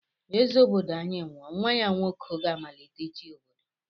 Eze obodo anyi nwụọ nwa ya nwoke gá-amalite ichi obodo.